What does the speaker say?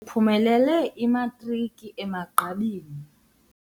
Uphumelele imatriki emagqabini.